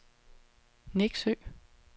Neksø